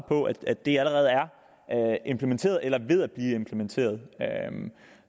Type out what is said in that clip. på at det allerede er implementeret eller ved at blive implementeret